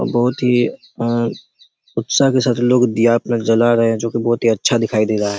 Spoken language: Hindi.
बहुत ही अच्छा के साथ लोग दिया लोग जला रहे हैं जो कि बहुत ही अच्छा दिखाई दे रहा हैं।